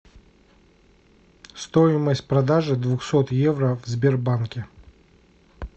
стоимость продажи двухсот евро в сбербанке